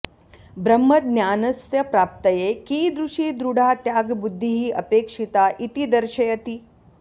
ब्रह्मज्ञानस्य प्राप्तये कीदृशी दृढा त्यागबुद्धिः अपेक्षिता इति दर्शयति